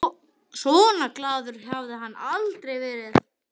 Svona glaður hafði hann aldrei verið.